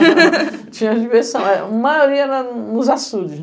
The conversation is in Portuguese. Tinha a diversão, a maioria era nos eçudes.